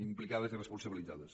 implicades i responsabilitzades